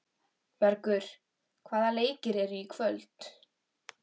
Bergur, hvaða leikir eru í kvöld?